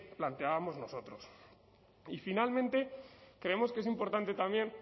planteábamos nosotros y finalmente creemos que es importante también